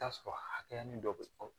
T'a sɔrɔ hayɛnin dɔ bɛ fɔ